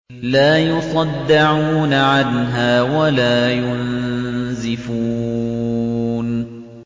لَّا يُصَدَّعُونَ عَنْهَا وَلَا يُنزِفُونَ